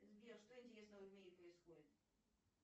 сбер что интересного в мире происходит